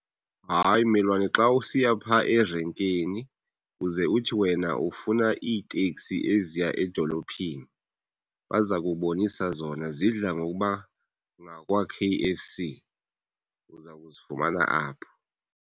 Hayi mmelwane xa usiya pha erenkini uze uthi wena ufuna iiteksi eziya edolophini, baza kubonisa zona. Zidla ngokuba ngakwa-K_F_C, uza kuzifumana apho.